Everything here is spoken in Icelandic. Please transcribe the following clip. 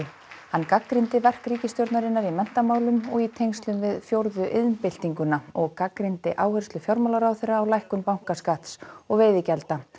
hann gagnrýndi verk ríkisstjórnarinnar í menntamálum og í tengslum við fjórðu iðnbyltinguna og gagnrýndi áherslu fjármálaráðherra á lækkun bankaskatts og veiðigjalda